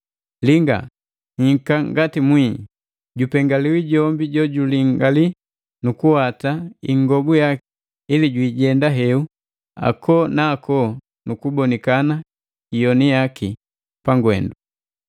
“Linga, nhika ngati mwii! Jupengaliwi jombi jojuliangali nu kuwata ingobu yaki ili jwi jenda heu ako na ako nu kubonikana iyoni yaki pangwendu.”